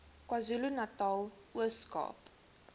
kwazulunatal ooskaap